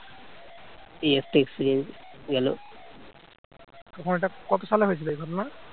তোমার এটা কত সালে হয়েছিল এই ঘটনা